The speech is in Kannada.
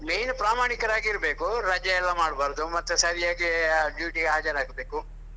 Main ಪ್ರಾಮಾಣಿಕರಾಗಿ ಇರ್ಬೇಕು. ರಜೆ ಎಲ್ಲ ಮಾಡ್ಬಾರ್ದು ಮತ್ತೆ ಸರಿಯಾಗಿ duty ಗೆ ಹಾಜರಾಗಬೇಕು.